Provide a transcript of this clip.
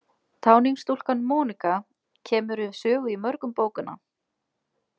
Táningsstúlkan Mónika kemur við sögu í mörgum bókanna.